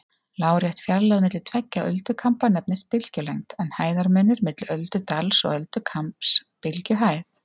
Lárétt fjarlægð milli tveggja öldukamba nefnist bylgjulengd, en hæðarmunur milli öldudals og öldukambs bylgjuhæð.